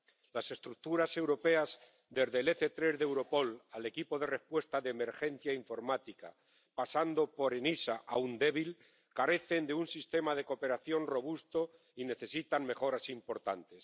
Las estructuras europeas, desde el EC3 de Europol al Equipo de Respuesta de Emergencia Informática, pasando por ENISA, aún débil, carecen de un sistema de cooperación robusto y necesitan mejoras importantes.